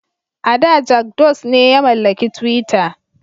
A da Jak Dose ne ya mallaki twitter.